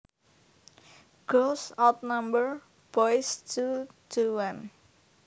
Girls outnumber boys two to one